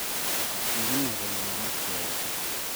Kiginay kole magat Keyay kiy